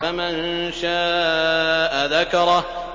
فَمَن شَاءَ ذَكَرَهُ